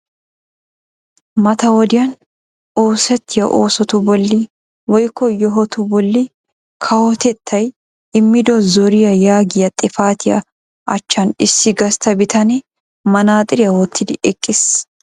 Mata wodiyan oosettiya oosotu bolli woyikko yohotu bolli kawotettay immido zoriya yaagiya xipatiya achchan issi gastta bitane manaxiriya wottidi eqqis.